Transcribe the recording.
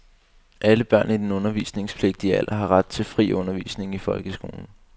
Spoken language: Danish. Alle børn i den undervisningspligtige alder har ret til fri undervisning i folkeskolen.